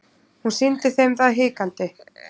Hún sýndi þeim það hikandi.